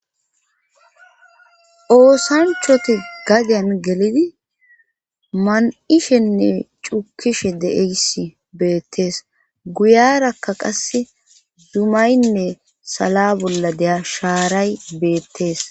oosanchoti gadyan gelidi man7ishenne cukishe deeysi beettees guyarakka qasse dumaynne sala bolla deya shaaray beettees